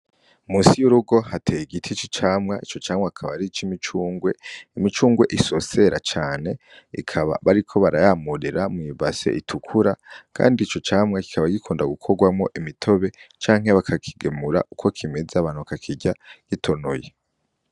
Musi y'urugo hateye igiti ici camwa ico camwe akaba ari ico imicungwe imicungwe isosera cane ikaba bariko barayamurera mw'ibase itukura, kandi ico camwa kikaba gikunda gukorwamwo imitobe canke bakakigemura uko kimeza abantu akakirya gitonoye.